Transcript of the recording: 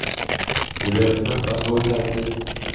De behöver knappast gå i terapi.